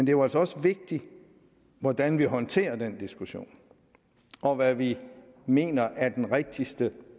jo altså også vigtigt hvordan vi håndterer den diskussion og hvad vi mener er den rigtigste